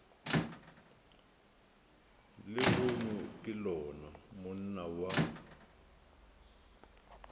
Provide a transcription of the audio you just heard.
lehono ke lona monna wa